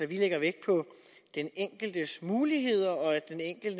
vi lægger vægt på den enkeltes muligheder og